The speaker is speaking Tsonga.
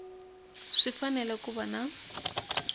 swi fanele ku va na